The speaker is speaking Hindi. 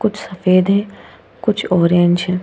कुछ सफेद है कुछ ऑरेंज है।